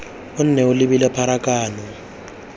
o nne o labile pharakano